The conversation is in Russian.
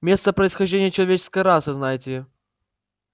место происхождения человеческой расы знаете ли